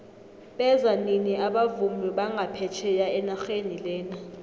beza nini abavumi banga phetjheya enaxheni lena